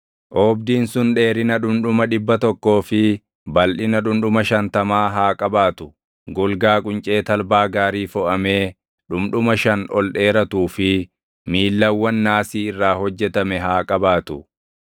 Oobdiin sun dheerina dhundhuma dhibba tokkoo fi balʼina dhundhuma shantamaa haa qabaatu; golgaa quncee talbaa gaarii foʼamee dhundhuma shan ol dheeratuu fi miillawwan naasii irraa hojjetame haa qabaatu.